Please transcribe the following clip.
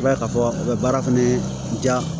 I b'a ye k'a fɔ a bɛ baara fɛnɛ diya